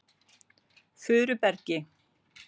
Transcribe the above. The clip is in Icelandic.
Furubergi